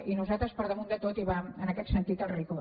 i per nosaltres per damunt de tot hi va en aquest sentit el rigor